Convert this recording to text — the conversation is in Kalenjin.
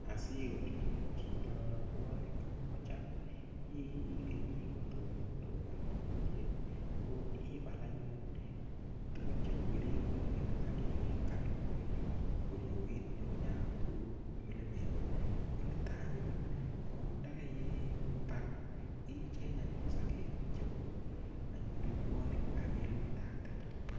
Asikol anyun chito robwonik kocham ikeni kotomo korobon komnye ko ibal anyun tukun cheu keringonik ak ikany korioit ngungunyat kou mulimet, koniton anyun ko ndakai baal icheng anyun sokek chebo anyun robwonik ak ilumndate.